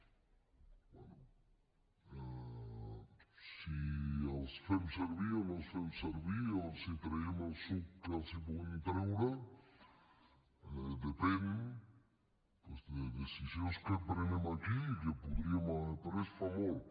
bé si els fem servir o no els fem servir o si els traiem el suc que els en podem treure depèn doncs de decisions que prenem aquí i que podríem haver pres fa molt